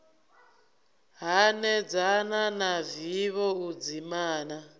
hanedzana na vivho u dzimana